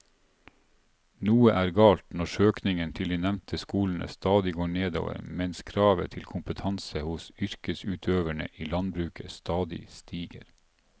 Noe er galt når søkningen til de nevnte skolene stadig går nedover mens kravet til kompetanse hos yrkesutøverne i landbruket stadig stiger.